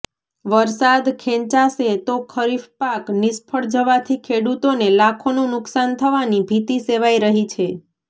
વરસાદ ખેંચાશે તો ખરીફ પાક નિષ્ફળ જવાથી ખેડૂતોને લાખોનું નુકશાન થવાની ભીતિ સેવાઇ રહી છે